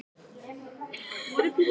Já en það eru engir peningar til.